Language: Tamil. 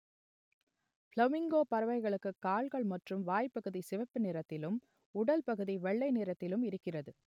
பிளமிங்கோ பறவைகளுக்கு கால்கள் மற்றும் வாய்‌ப்பகுதி சிவப்பு நிறத்திலும் உடல் பகுதி வெள்ளை நிறத்திலும் இருக்கிறது